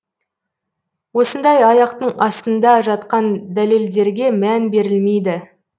осындай аяқтың астында жатқан дәлелдерге мән берілмейді